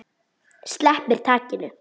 Sleppir takinu.